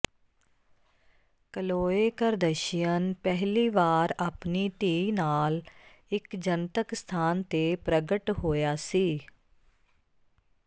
ਕਲੋਏ Kardashian ਪਹਿਲੀ ਵਾਰ ਆਪਣੀ ਧੀ ਨਾਲ ਇੱਕ ਜਨਤਕ ਸਥਾਨ ਤੇ ਪ੍ਰਗਟ ਹੋਇਆ ਸੀ